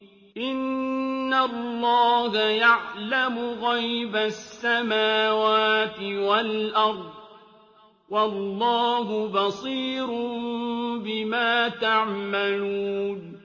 إِنَّ اللَّهَ يَعْلَمُ غَيْبَ السَّمَاوَاتِ وَالْأَرْضِ ۚ وَاللَّهُ بَصِيرٌ بِمَا تَعْمَلُونَ